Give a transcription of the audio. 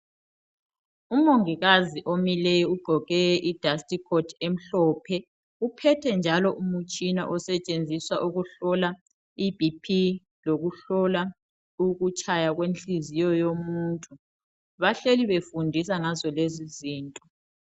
Umongikazi omileyo ugqoke i dastikhothi emhlophe, uphethe njalo umtshina osetshenziswa ukuhlola iBP lokuhlola ukutshaya kwenhliziyo yomuntu, bahleli befundisa ngazo lezi zinto.